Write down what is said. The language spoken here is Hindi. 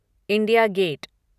India gate